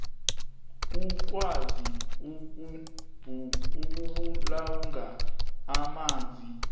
ukwazi ukubulunga amanzi